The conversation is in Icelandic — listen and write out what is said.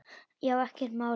Já, ekkert mál.